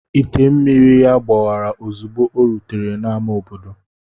Ite mmiri ya gbawara ozugbo o rutere n'ámá obodo.